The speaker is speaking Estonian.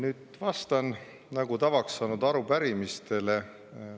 Nüüd vastan, nagu tavaks saanud, arupärimistele.